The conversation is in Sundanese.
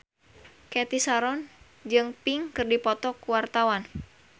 Cathy Sharon jeung Pink keur dipoto ku wartawan